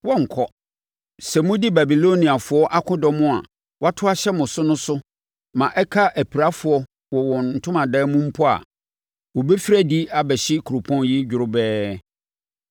Sɛ modi Babiloniafoɔ akodɔm a wɔato ahyɛ mo so no so ma ɛka apirafoɔ wɔ wɔn ntomadan mu mpo a, wɔbɛfiri adi abɛhye kuropɔn yi dworobɛɛ.”